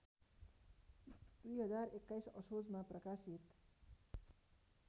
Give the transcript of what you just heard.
२०२१ असोजमा प्रकाशित